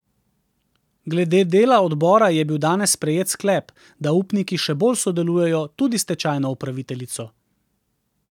Glede dela odbora je bil danes sprejet sklep, da upniki še bolj sodelujejo, tudi s stečajno upraviteljico.